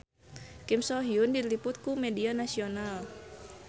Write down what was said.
Kim So Hyun diliput ku media nasional